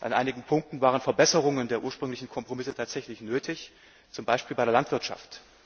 An einigen Punkten waren Verbesserungen der ursprünglichen Kompromisse tatsächlich nötig, zum Beispiel bei der Landwirtschaft.